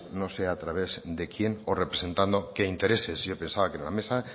no sé a través de quién o representando qué intereses yo pensaba que en la mesa